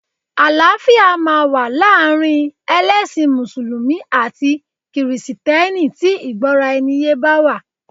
Àlàáfíà máa wà láàrin ẹlẹ́sìn mùsùlùmí àti kìrìsìtẹ́nì tí ìgbọ́raẹniyé bá wà.